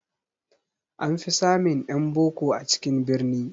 An fi samun ƴan boko a cikin birni